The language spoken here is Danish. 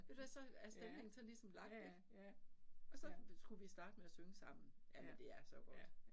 Ved du hvad så er stemningen sådan ligesom ligesom lagt ik og så skulle vi starte med at synge sammen. Jamen det er så godt